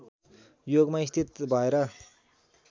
योगमा स्थित भएर